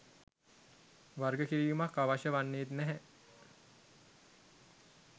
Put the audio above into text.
වර්ගකිරීමක් අවශ්‍ය වන්නේත් නැහැ